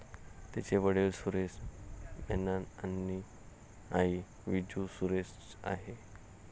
तिचे वडिल सुरेश मेनन आणि आई विजू सुरेश आहे.